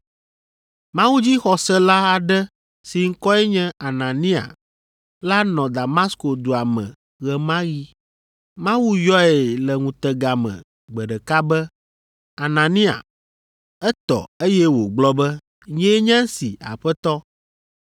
Mawudzixɔsela aɖe si ŋkɔe nye Anania la nɔ Damasko dua me ɣe ma ɣi. Mawu yɔe le ŋutega me gbe ɖeka be “Anania.” Etɔ, eye wògblɔ be, “Nyee nye esi, Aƒetɔ.”